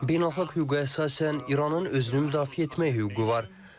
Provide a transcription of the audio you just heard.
Beynəlxalq hüquqa əsasən İranın özünü müdafiə etmək hüququ var.